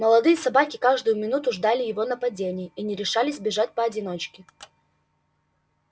молодые собаки каждую минуту ждали его нападения и не решались бегать поодиночке